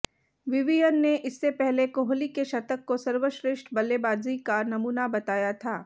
Vivian ने इससे पहले कोहली के शतक को सर्वश्रेष्ठ बल्लेबाजी का नमूना बताया था